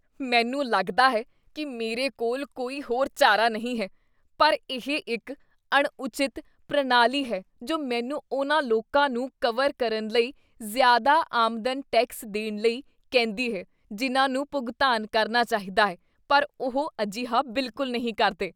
ਮੈਨੂੰ ਲੱਗਦਾ ਹੈ ਕੀ ਮੇਰੇ ਕੋਲ ਕੋਈ ਹੋਰ ਚਾਰਾ ਨਹੀਂ ਹੈ, ਪਰ ਇਹ ਇੱਕ ਅਣਉਚਿਤ ਪ੍ਰਣਾਲੀ ਹੈ ਜੋ ਮੈਨੂੰ ਉਨ੍ਹਾਂ ਲੋਕਾਂ ਨੂੰ ਕਵਰ ਕਰਨ ਲਈ ਜ਼ਿਆਦਾ ਆਮਦਨ ਟੈਕਸ ਦੇਣ ਲਈ ਕਹਿੰਦੀ ਹੈ ਜਿਨ੍ਹਾਂ ਨੂੰ ਭੁਗਤਾਨ ਕਰਨਾ ਚਾਹੀਦਾ ਹੈ ਪਰ ਉਹ ਅਜਿਹਾ ਬਿਲਕੁਲ ਨਹੀਂ ਕਰਦੇ ।